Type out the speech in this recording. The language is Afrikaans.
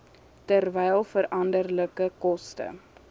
terwyl veranderlike koste